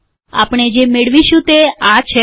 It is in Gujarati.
આપણે જે મેળવશું તે આ છે